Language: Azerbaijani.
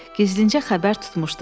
Gizlincə xəbər tutmuşdum.